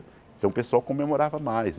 Então o pessoal comemorava mais.